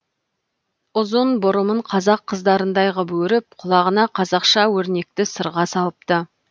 ұзын бұрымын қазақ қыздарындай ғып өріп құлағына қазақша өрнекті сырға салыпты